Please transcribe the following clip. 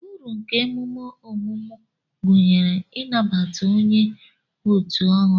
Uru nke emume ọmụmụ gụnyere ị nabata onye otu ọhụrụ.